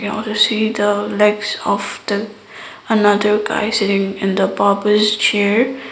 now the see the legs after another guy sitting in the barber's chair.